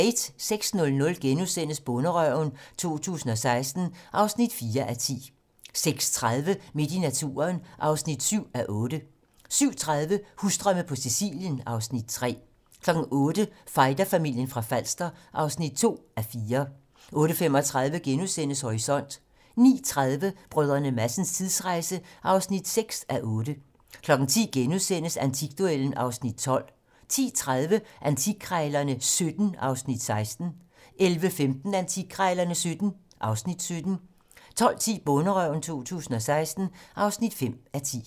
06:00: Bonderøven 2016 (4:10)* 06:30: Midt i naturen (7:9) 07:30: Husdrømme på Sicilien (Afs. 3) 08:00: Fighterfamilien fra Falster (2:4) 08:35: Horisont * 09:30: Brdr. Madsens tidsrejse (6:8) 10:00: Antikduellen (Afs. 12)* 10:30: Antikkrejlerne XVII (Afs. 16) 11:15: Antikkrejlerne XVII (Afs. 17) 12:10: Bonderøven 2016 (5:10)